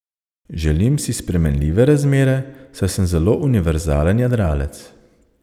Želim si spremenljive razmere, saj sem zelo univerzalen jadralec.